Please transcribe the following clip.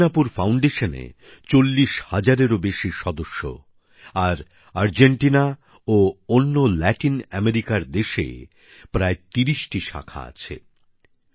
আজ হস্তিনাপুর ফাউন্ডেশনে ৪০ হাজারেরও বেশি সদস্য আর আর্জেন্টিনা ও অন্য লাতিন আমেরিকার দেশে এর প্রায় ৩০ টি শাখা রয়েছে